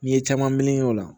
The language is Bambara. N'i ye caman meleke o la